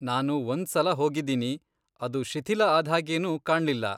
ನಾನು ಒಂದ್ಸಲ ಹೋಗಿದೀನಿ, ಅದು ಶಿಥಿಲ ಆದ್ಹಾಗೇನೂ ಕಾಣ್ಲಿಲ್ಲ.